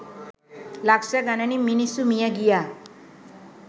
ලක්ෂ ගණනින් මිනිස්සු මිය ගියා.